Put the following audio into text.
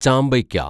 ചാമ്പയ്ക്ക